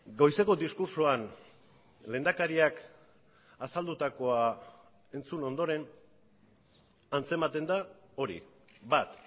goizeko diskurtsoan lehendakariak azaldutakoa entzun ondoren antzematen da hori bat